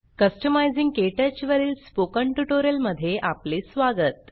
customising क्टच वरील spoken tutorial मध्ये आपले स्वागत